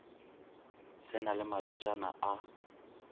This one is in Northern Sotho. se na le malwetšana a